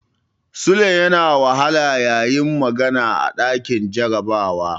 Sule yana wahala yayi magana a ɗakin jarabawa.